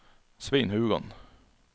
Svein Haugan